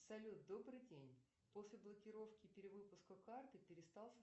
салют добрый день после блокировки перевыпуска карты перестал